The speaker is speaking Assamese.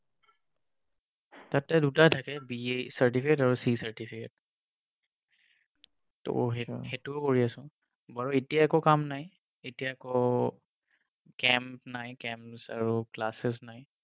তাতে দুটা থাকে B certificate আৰু C certificate ত সেইটো কৰি আছোঁ বাৰু এতিয়া একো কাম নাই এতিয়া আকৌ camp নাই camps আৰু classes নাই